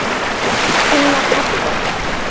Hún var padda.